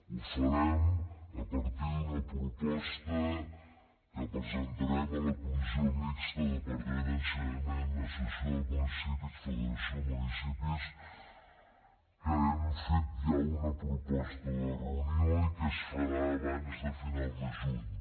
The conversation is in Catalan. ho farem a partir d’una proposta que presentarem a la comissió mixta departament d’ensenyament associació de municipis i federació de municipis que hem fet ja una proposta de reunió i que es farà abans de final de juliol